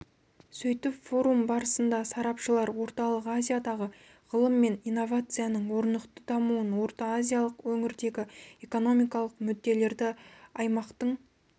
сөйтіп форум барысында сарапшылар орталық азиядағы ғылым мен инновацияның орнықты дамуын орта-азиялық өңірдегі экономикалық мүдделерді аймақтың